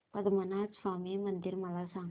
पद्मनाभ स्वामी मंदिर मला सांग